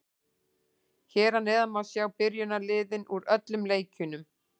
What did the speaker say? Hér að neðan má sjá byrjunarliðin úr öllum leikjunum.